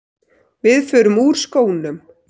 Við förum úr skónum.